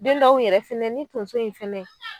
Den dɔw yɛrɛ fɛnɛ ni tonso in fɛnɛ